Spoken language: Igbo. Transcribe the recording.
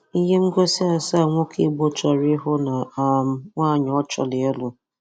Ihe ngosi asaa nwoke Igbo chọrọ ihụ na um nwaanyị ọ chọrọ-ịlụ